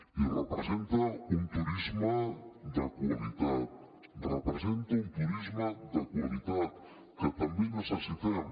i representa un turisme de qualitat representa un turisme de qualitat que també necessitem